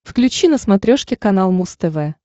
включи на смотрешке канал муз тв